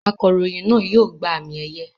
Akọ̀ròyìn náà yóò gba àmì-ẹ̀yẹ.